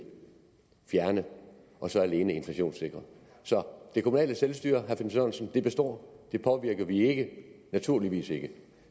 fjerne og så alene inflationssikre det kommunale selvstyre består det påvirker vi ikke naturligvis ikke